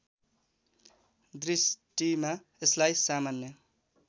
दृष्टिमा यसलाई सामान्य